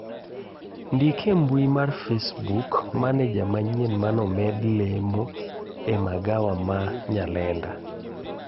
ndik e mbui mar facebook maneja manyien mane omed lemo e magawa ma nyalenda